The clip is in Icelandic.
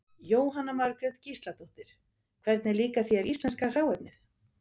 Jóhanna Margrét Gísladóttir: Hvernig líkar þér íslenska hráefnið?